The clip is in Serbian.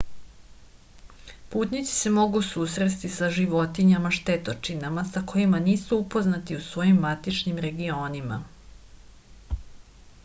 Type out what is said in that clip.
putnici se mogu susresti sa životinjama štetočinama sa kojima nisu upoznati u svojim matičnim regionima